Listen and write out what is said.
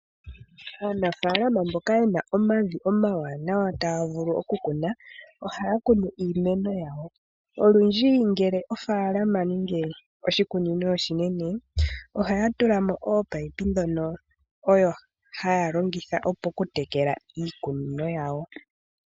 Aanafalama mboka yena omavi omawanawa taya vulu okukuna, ohaya kunu iimeno yawo. Olundji ngele ofaalama nenge oshikunino oshinene, ohaya tula mo ominino ndhono haya longitha okutekela iikunino yawo.